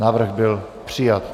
Návrh byl přijat.